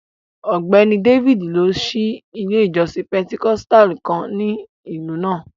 Ọgbẹ́ni Dávídì n lọ sí ilẹ̀ ìjọ̀ṣìn Pẹntẹkọ̀stàlù kàn ní ilú náà.